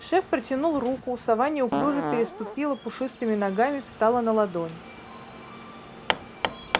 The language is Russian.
шеф протянул руку сова неуклюже переступила пушистыми ногами встала на ладонь